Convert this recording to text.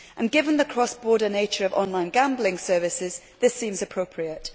Given the cross border nature of online gambling services, this seems appropriate.